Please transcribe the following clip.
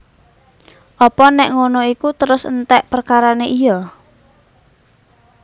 Apa nék ngono iku terus enték perkarané iya